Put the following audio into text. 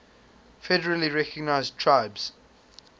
federally recognized tribes